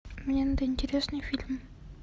мне надо интересный фильм